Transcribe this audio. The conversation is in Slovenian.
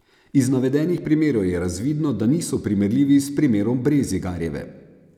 Iz navedenih primerov je razvidno, da niso primerljivi s primerom Brezigarjeve.